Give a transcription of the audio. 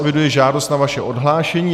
Eviduji žádost o vaše odhlášení.